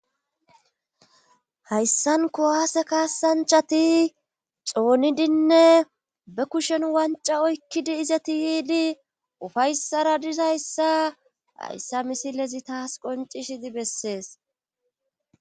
hayssan kuwaase kaassanchati xoonidinne be kushen wanca oykkidi izati yiidi ufayssara dizayssa hayssa misilezi taas qoncishidi bessees